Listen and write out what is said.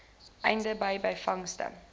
einde de byvangste